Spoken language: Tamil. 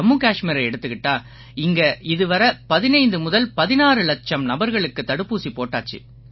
ஜம்மு கஷ்மீரை எடுத்துக்கிட்டா இங்கே இதுவரை 15 முதல் 16 இலட்சம் நபர்களுக்கு தடுப்பூசி போட்டாச்சு